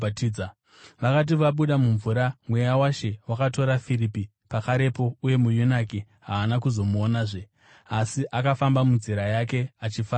Vakati vabuda mumvura, Mweya waShe wakatora Firipi pakarepo, uye muyunaki haana kuzomuonazve, asi akafamba munzira yake achifara kwazvo.